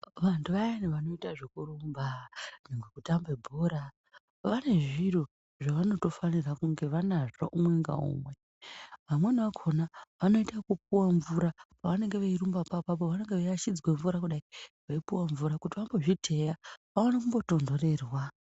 Vanthu vayani vanoite zvekurumba, zvekutamba bhora vane zviro zvevanotofanire kunge vanazvo umwe ngaumwe. Vamweni vakhona vanoite ekupuwe mvura, pevanenge veirumbapo apapo vanenge veiashidzwa mvura kudai veipuwa mvura kuti vambozvitheya vaone kumbotonthorerwa.